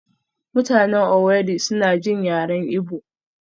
mutanen Owerri suna jin yaren Igbo